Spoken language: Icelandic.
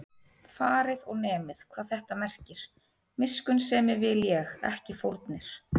Farið og nemið, hvað þetta merkir: Miskunnsemi vil ég, ekki fórnir